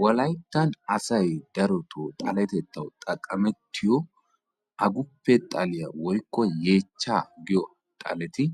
Wolayttan asay darotoo xaletettawu xaqqamettiyo aguppe xaliya woykko yeechchaa giyo xaleti